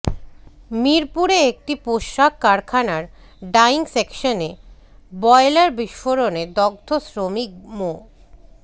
মিরপুরে একটি পোশাক কারখানার ডাইং সেকশনে বয়লার বিস্ফোরণে দগ্ধ শ্রমিক মো